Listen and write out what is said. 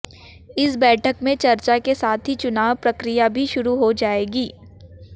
इस बैठक में चर्चा के साथ ही चुनाव प्रक्रिया भी शुरू हो जाएगी